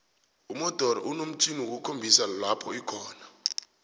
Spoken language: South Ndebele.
umodoro inomtjhjniwokukhombisa lopho ikhona